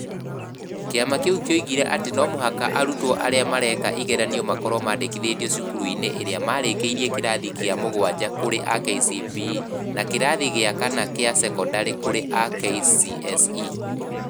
Kĩama kĩu kĩoigire atĩ no mũhaka arutwo arĩa mareka ĩgeranio makorwo maandĩkithĩtio cukuru-inĩ ĩrĩa Marĩkĩirie kĩrathi kĩa mũgwanja kũrĩ a KCPE na kĩrathi gĩa kana kĩa cekondarĩ kũrĩ a kcse